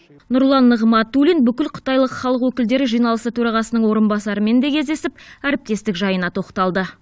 нұрлан нығматулин бүкілқытайлық халық өкілдері жиналысы төрағасының орынбасарымен де кездесіп әріптестік жайына тоқталды